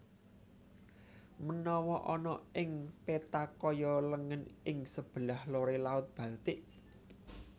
Menawa ana ing peta kaya lengen ing sebelah lore Laut Baltik